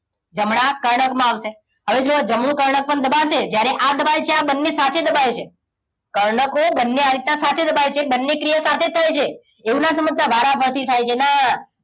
જમણા કર્ણકમાં આવશે હવે જુઓ જમણું કર્ણક પણ દબાશે જ્યારે આ દબાય છે આ બંને સાથે દબાય છે કર્ણકો બંને આ રીતના સાથે દબાય છે બંને ક્રિયાઓ સાથે થાય છે એવું ના સમજતા વારાફરતી થાય છે ના